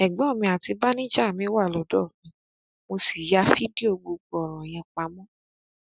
ẹgbọn mi àti báníjà mi wà lọdọ mi mo sì ya fídíò gbogbo ọrọ yẹn pamọ